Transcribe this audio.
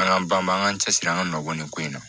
An ka ban maa an k'an cɛsiri an ka nɔbɔlen ko in na